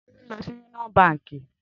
Tolu n lò si Úníòn bànkí